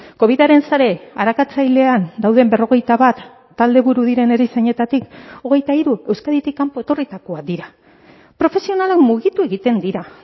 covidaren sare arakatzailean dauden berrogeita bat taldeburu diren erizainetatik hogeita hiru euskaditik kanpo etorritakoak dira profesionalak mugitu egiten dira